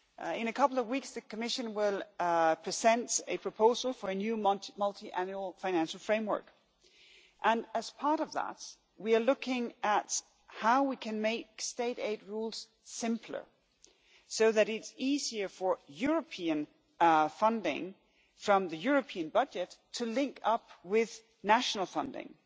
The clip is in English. In a couple of weeks, the Commission will present a proposal for a new Multiannual Financial Framework, and as part of that we are looking at how we can make state aid rules simpler so that it is easier for European funding from the European budget to link up with national funding.